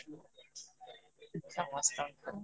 ସମସ୍ତଙ୍କୁ